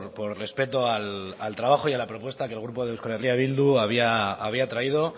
por respeto al trabajo y a la propuesta que el grupo de eh bildu había traído